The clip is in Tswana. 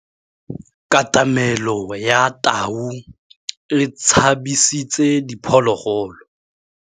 Katamêlô ya tau e tshabisitse diphôlôgôlô.